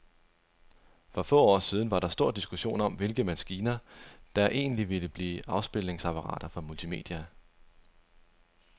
For få år siden var der stor diskussion om, hvilke maskiner, der egentlig ville blive afspilningsapparater for multimedia.